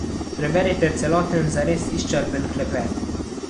Preberite celoten, zares izčrpen, klepet!